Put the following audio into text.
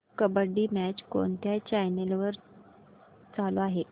kabaddi match कोणत्या channel वर चालू आहे